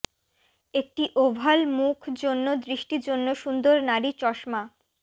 একটি ওভাল মুখ জন্য দৃষ্টি জন্য সুন্দর নারী চশমা